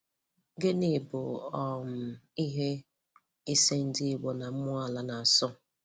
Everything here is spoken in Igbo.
Gịnị bụ um ihe ise ndị Igbo na mmụọ Ala na-asọ?